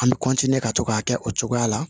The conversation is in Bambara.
An bɛ ka to k'a kɛ o cogoya la